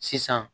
Sisan